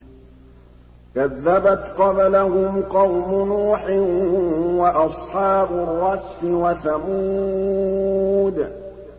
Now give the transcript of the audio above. كَذَّبَتْ قَبْلَهُمْ قَوْمُ نُوحٍ وَأَصْحَابُ الرَّسِّ وَثَمُودُ